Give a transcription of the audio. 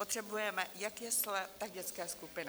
Potřebujeme jak jesle, tak dětské skupiny.